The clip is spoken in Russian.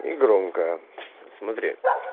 и громко смотри